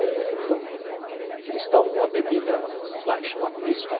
E aí eles tomam uma bebida lá que chama pisco.